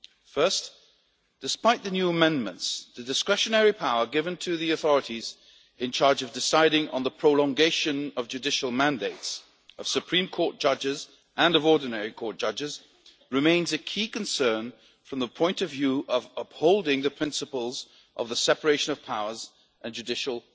First, despite the new amendments, the discretionary power given to the authorities in charge of deciding on the prolongation of the judicial mandates of Supreme Court judges and of ordinary court judges remains a key concern from the point of view of upholding the principles of the separation of powers and judicial